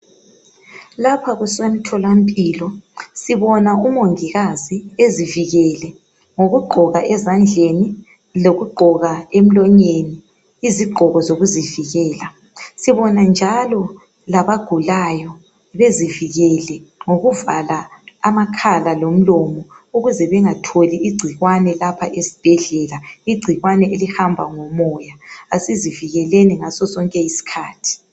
Lapha kusemtholampilo, sibona umongikazi ezivikele ngokugqoka ezandleni lokugqoka emlonyeni izigqoko zokuzivikela. Sibona njalo labagulayo bezivikele ngokuvala amakhala lomlomo ukuze bengatholi igcikwane lapha esibhedlela, igcikwane elihamba ngomoya. Kasizivikeleni ngaso sonke isikhathi.